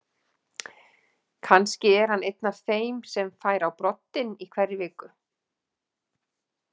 Kannski er hann einn af þeim sem fær á broddinn í hverri viku.